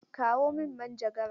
Kawo min manjagara!